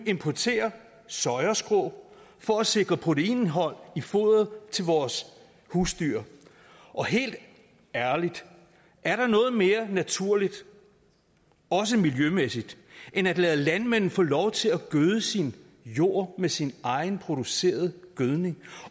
importere soyaskrå for at sikre proteinindhold i foderet til vores husdyr helt ærligt er der noget mere naturligt også miljømæssigt end at lade landmanden få lov til at gøde sin jord med sin egen producerede gødning